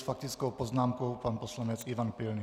S faktickou poznámkou pan poslanec Ivan Pilný.